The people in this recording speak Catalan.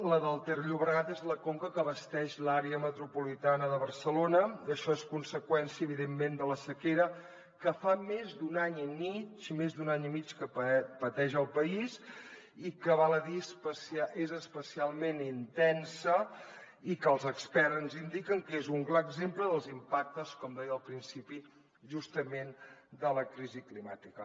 la del ter llobregat és la conca que abasteix l’àrea metropolitana de barcelona i això és conseqüència evidentment de la sequera que fa més d’un any i mig més d’un any i mig que pateix el país i que val a dir és especialment intensa i que els experts ens indiquen que és un clar exemple dels impactes com deia al principi justament de la crisi climàtica